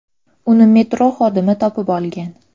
Uni metro xodimi topib olgan.